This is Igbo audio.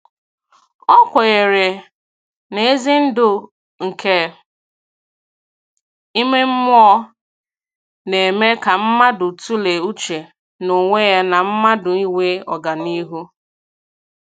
O kwenyere na ezi ndu nke ime mmụọ na - eme ka mmadụ tụlee uche n'onwe ya na mmadụ inwe ọganihu